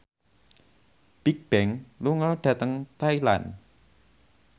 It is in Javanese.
Bigbang lunga dhateng Thailand